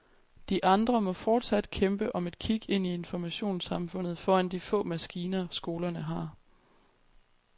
De andre må fortsat kæmpe om et kig ind i informationssamfundet foran de få maskiner, skolerne har.